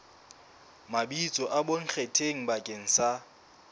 mabitso a bonkgetheng bakeng sa